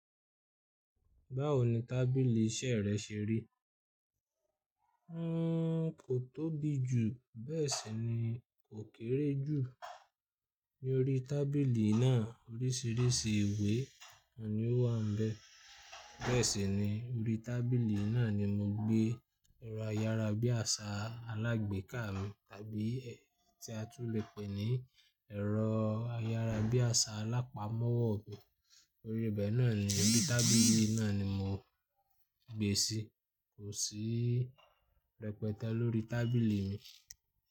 Báwo ni tábìlì iṣẹ́ rẹ ṣe rí? N kò tóbi jù, bẹ́ẹ̀ sì ni kò kéré jù. Ni orí tábìlì náà, oríṣiríṣi ìwé ni ó wà ń bẹ. Bẹ́ẹ̀ sì ni, orí tábìlì náà ni mo gbé ẹ̀rọ ayárabíàṣá alágbéká mi tàbí tí a tún lè pè ní ẹ̀rọ ayárabíàṣá alápámọ́ ọ̀wọ́ mi. Orí ibẹ̀ náà ni, orí tábìlì náà ni mo gbé è sí. Kò sí rẹpẹtẹ lórí tábìlì mi.